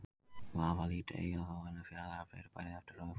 Vafalítið eiga þó önnur fjarlægari fyrirbæri eftir að uppgötvast.